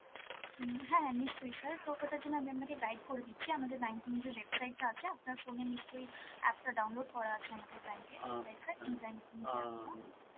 হম হ্যাঁ হ্যাঁ নিশ্চয়ই sir, তো ওটার জন্য আমি আপনাকে guide করে দিচ্ছি, আমাদের banking যে website টা আছে, আপনার phone এ নিশ্চয়ই app টা download করা আছে আমাদের bank এর right sir, E -banking